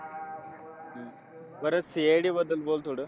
परत, CID बद्दल बोल थोडं.